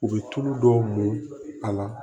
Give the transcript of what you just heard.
U bɛ tulu dɔw mɔ a la